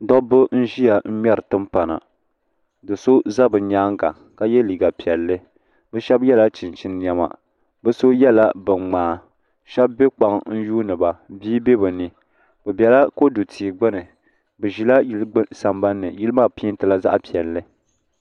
Dabba n-ʒiya ŋmɛri timpana do so za bɛ nyaaŋa ka ye liiga piɛlli bɛ shɛba yela chinchini nɛma bɛ so yela biŋmaa shɛba be kpaŋa n-yuuni ba bia be bɛ nii bɛ bela kodu tia gbuni bɛ ʒila yili sambani ni yili maa peentila zaɣ'piɛlli.